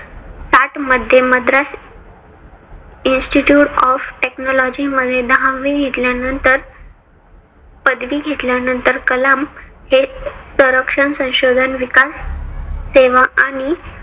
साठ मध्ये Madras institute of technology मध्ये दहावी निघाल्या नंतर पदवी घेतल्यानंतर कलाम हे संरक्षण संशोधन विकास सेवा आणि